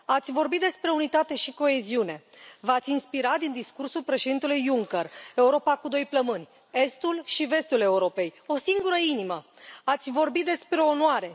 Ați vorbit despre unitate și coeziune, v ați inspirat din discursul Președintelui Juncker Europa cu doi plămâni, estul și vestul Europei, o singură inimă ați vorbit despre onoare.